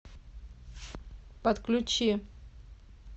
подключи